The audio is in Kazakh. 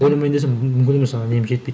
ойламайын десең мүмкін емес ана нем жетпейді